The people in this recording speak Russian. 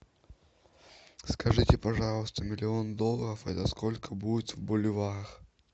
скажите пожалуйста миллион долларов это сколько будет в боливарах